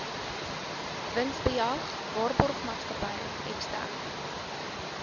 winsbejag waarborgmaatskappy eksterne